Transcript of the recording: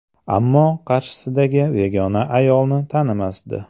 (Ammo qarshisidagi begona ayolni tanimasdi).